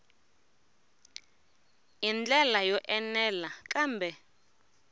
hi ndlela yo enela kambe